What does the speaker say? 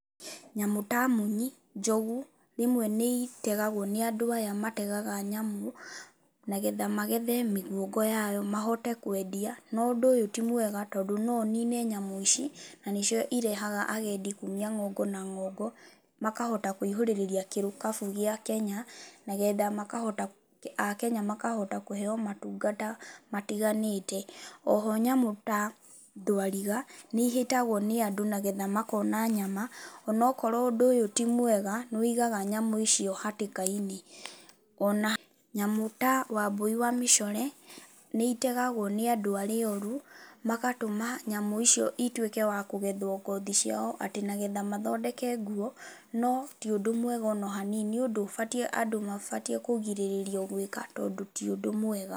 Nyamũ ta munyi, njogu, rĩmwe nĩ itegagwo nĩ andũ aya mategaga nyamũ, nagetha magethe mĩguongo yayo mahote kwendia. No ũndũ ũyũ ti mwega, tondũ no ũnine nyamũ ici, na nĩcio irehaga agendi kuumia ng'ongo na ng'ongo, makahota kũihũrũrĩrĩria gĩkabũ gĩa Kenya, nagetha makahota Akenya makahota kũheeo matungata matiganĩte. Oho nyamũ ta thwariga, nĩ ihĩtagwo nĩ andũ nagetha makona nyama, onokorwo ũndũ ũyũ ti mwega, nĩ wĩigaga nyamũ icio hatĩka-inĩ. Ona nyamũ ta wambũi wa mĩcore, nĩ itegagwo nĩ andũ arĩa oru, magatũma nyamũ icio ituĩka wa kũgethwo ngothi ciao, atĩ nagetha mathondeke nguo. No ti ũndũ mwega ona hanini. Nĩ ũndũ ũbatiĩ andũ mabatiĩ kũgirĩrĩrio gwĩka tondũ ti ũndũ mwega.